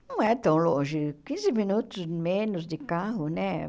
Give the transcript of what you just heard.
Não é tão longe, quinze minutos menos de carro, né?